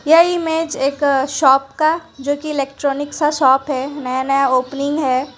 ये इमेज एक शॉप का जो कि इलेक्ट्रॉनिक सा शॉप है नया नया ओपनिंग है।